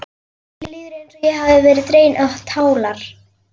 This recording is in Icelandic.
Mér líður eins og ég hafi verið dregin á tálar.